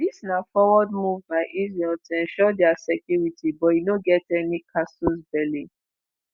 "dis na forward move by israel to ensure dia security but e no get any casus belli